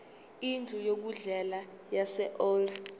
indlu yokudlela yaseold